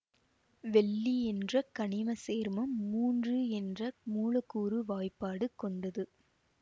வெள்ளி என்ற கனிம சேர்மம் மூன்று என்ற மூலக்கூறு வாய்பாடு கொண்டது